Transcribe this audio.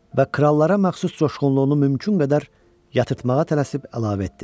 Və krallara məxsus coşğunluğunu mümkün qədər yatırtmağa tələsib əlavə etdi.